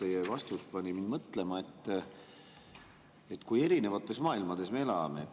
Üks teie vastus pani mind mõtlema, kui erinevates maailmades me elame.